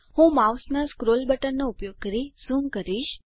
હું માઉસનાં સ્ક્રોલ બટનનો ઉપયોગ કરી ઝૂમ કરીશ